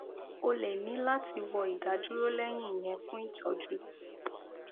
o lè ní láti wọ ìdádúró lẹyìn ìyẹn fún ìtọjú